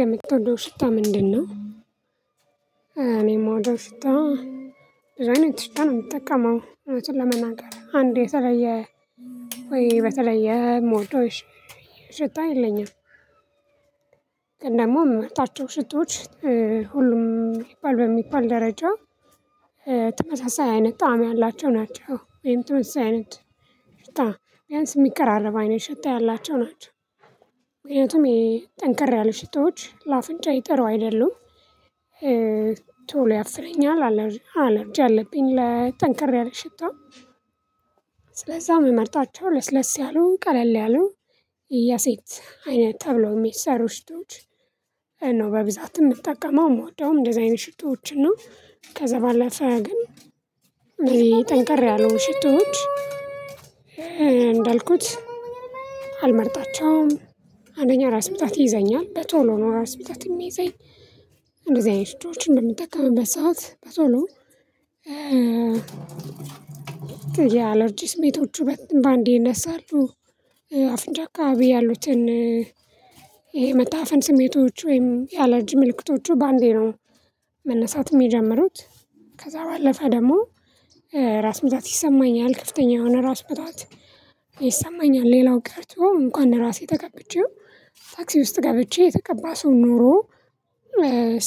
የምትወደው ሽታ ምንድነው? እኔም የምወደው ሽታ። ብዙ አይነት ሽታ ነው የምትጠቀመው እውነቱን ለመናገር አንድ የተለየ ወይ በተለየ ሞልቶሽ ሽታ የለኝም። ደግሞ ምመርጣቸው ሽቶዎች ሁሉም ይባል በሚባል ደረጃ ተመሳሳይ አይነት ጣዕም ያላቸው ናቸው። ወይም ተመሳሳይ አይነት ሽታ ቢያንስ የሚቀራረብ አይነት ሽታ ያላቸው ናቸው። ምክንያቱም ይሄ ጠንከር ያለ ሽቶዎች ለአፍንጫዬ ይጥሩ አይደሉም። ቶሎ ያፍነኛል አለርጂ አለብኝ ለ ጠንከር ያለ ሽታ። ስለዛ የምመርጣቸው ለስለስ ያሉን ቀለል ያሉ የሴት አይነት ተብሎ የሚሰሩ ሽቶዎች ነው። በብዛት የምትጠቀመው የምወደውም እንደዚህ አይነት ሽቶዎችና ከዛ ባለፈ ግን ጠንቀር ያሉ ሽቶዎች። እንዳልኩት አልመርጣቸውም። አንደኛ ራስ ምጣት ይይዘኛል በቶሎ ነው ራስ ምታት የሚይዘኝ። እንደዚህ አይነት ሽቶዎችን በምትጠቀምበት ሰዓት በቶሎ የአለርጂ ስሜቶቹ በአንዴ ይነሳሉ። አፍንጫ አካባቢ ያሉትን ይሄ መታፈን ስሜቶች ወይም የአለርጂ ምልክቶቹ በአንዴ ነው መነሳት የጀመሩት። ከዛ ባለፈ ደግሞ ራስ ምታት ይሰማኛል ከፍተኛ የሆነ ራስ ምታት ይሰማኛል። ሌላው ቀርቶ እንኳን ራሴ ተቀብቼው ታክሲ ውስጥ ገብቼ የተቀባ ሰው ኖሮ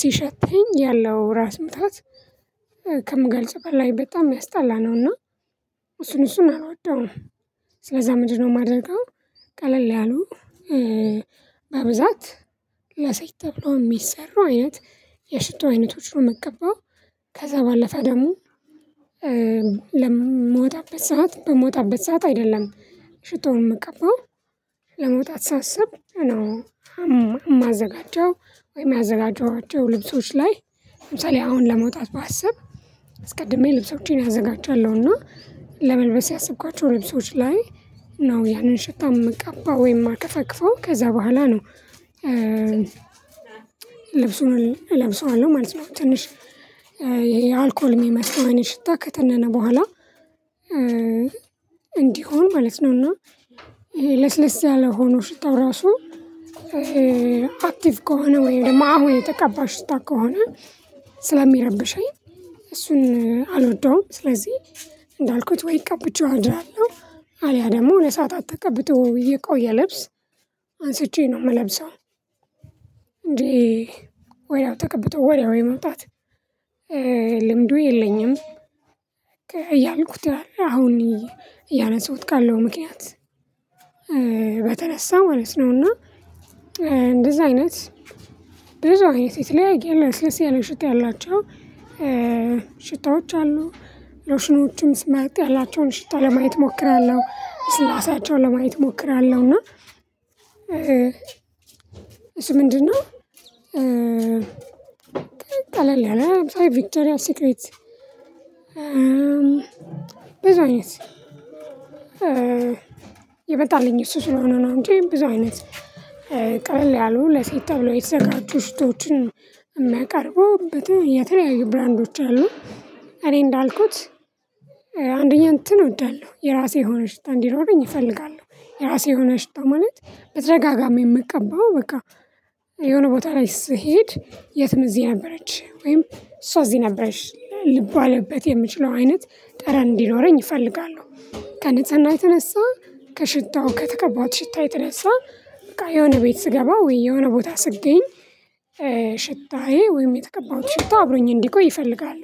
ሲሸተኝ ያለው ራስ ምታት ከምገልጸው በላይ በጣም ሚያስጣላ ነውና። እሱን እሱን አልወደውም። ስለዛ ምንድነው የማደርገው? ቀለል ያሉ በብዛት ለሴት ተብሎ የሚሰሩ አይነት የሽቶ አይነቶች ነው ምቀባው። ከዛ ባለፈ ደግሞ ለምወጣበት ሰዓት በምወጣበት ሰዓት አይደለም ሽቶውን መቀበል ለመውጣት ሳስብ ነው። የማዘጋጀው ወይም ያዘጋጀኋቸው ልብሶች ላይ ለምሳሌ አሁን ለመውጣት ባስብ አስቀድሜ ልብሶችን አዘጋጃለሁና ለመልበስ ያሰብኳቸው ልብሶች ላይ ነው ያንን ሽቶ የምቀባው ወይም የማተፋፈፈው ከዛ በኋላ ነው። ልብሱን እለብሰዋለሁ ማለት ነው ትንሽ የአልኮል የሚመስለው አይነት ሽታ ከተነነ በኋላ እንዲሆን ማለት ነው። እና ለስለስ ያለ ሆኖ ሽታው ራሱ አክቲቭ ከሆነ ወይም ድግሞ አሁን የተቀባ ሽታ ከሆነ ስለሚረብሸኝ። እሱን አልወደውም። ስለዚህ እንዳልኩት ወይ ቀብቼው አድራለሁ አልያ ደግሞ ለሰአታት ተቀብቶ የቆየ ልብስ አንስቼ ነው የምለብሰው። እንዴ ወዲያው ተቀብቶ ወዲያው የመውጣት መውጣት ልምዱ የለኝም። እያልኩት ያለ አሁን እያነሱት ካለው ምክንያት በተነሳ ማለት ነው። እና እንደዚህ አይነት ብዙ አይነት የተለያየ ለሰለሽ ያለ ሽታ ያላቸው ሽታዎች አሉ። ሎሽኖችም ስመርጥያላቸው ሽታ ለማየት እሞክራለሁ ልስላሴያውን ለማየት እሞክራለሁ። እና እሱ ምንድነው? ጠለል ነው አምሳይ ቪቸሪያ ስቅሬት ብዙ አይነት የመጣልኝ እሱ ስለሆነ ነው። እንጂ ብዙ አይነት ቀልል ያሉ ለሴት ተብሎ የተዘጋጁ ሽቶዎችን የሚያቀርበው የተለያዩ ብራንዶች አሉ። እኔ እንዳልኩት አንደኛ እንትን እወዳለሁ የራሴ የሆነ ሽታ እንዲኖረኝ እፈልጋለሁ። የራሴ የሆነ ሽታ ማለት በተደጋጋሚ የምትቀባው በቃ የሆነ ቦታ ላይ ስሄድ የትም እዚህ ነበረች ወይም እሷ እዚህ ነበርሽ ልባልበት የምችለው አይነት ጠረን እንዲኖረኝ እፈልጋለሁ። ከንጽህና የተነሳ ከሽታው ከተቀባሁት ሽታ የተነሳ በቃ የሆነ ቤት ስገባ ወይ የሆነ ቦታ ስገኝ ሽታዬ ወይም የተቀባሁት ሽታ አብሮኝ እንዲቆይ ይፈልጋሉ።